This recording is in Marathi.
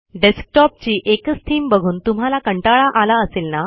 डेस्कटॉपची एकच थीम बघून तुम्हाला कंटाळा आला असेल ना